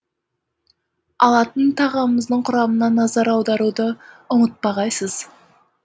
алатын тағамыңыздың құрамына назар аударуды ұмытпағайсыз